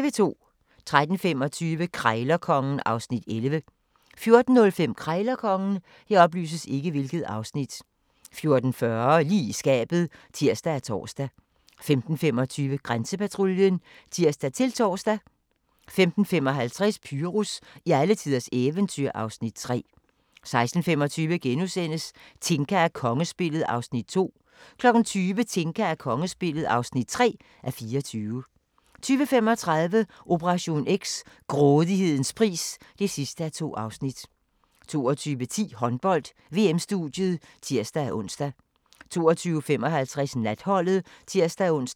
13:25: Krejlerkongen (Afs. 11) 14:05: Krejlerkongen 14:40: Lige i skabet (tir og tor) 15:25: Grænsepatruljen (tir-tor) 15:55: Pyrus i alletiders eventyr (Afs. 3) 16:25: Tinka og kongespillet (2:24)* 20:00: Tinka og kongespillet (3:24) 20:35: Operation X: Grådighedens pris (2:2) 22:10: Håndbold: VM-studiet (tir-ons) 22:55: Natholdet (tir-ons)